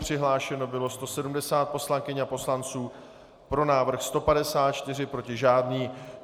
Přihlášeno bylo 170 poslankyň a poslanců, pro návrh 154, proti žádný.